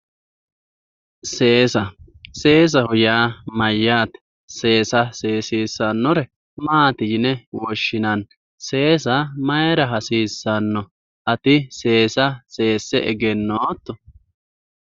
Seesa, seesaho yaa mayyate, seessa seesissanore maati yine woshshinanni, seesa mayra hasiisano, ati seesa seesse egenotto.